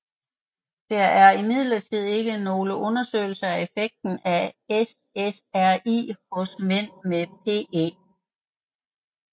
Der er imidlertid ikke nogle undersøgelser af effekten af SSRI hos mænd med PE